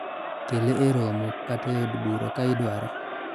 kele e romo kata e od bura ka idware